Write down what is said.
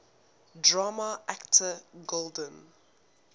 drama actor golden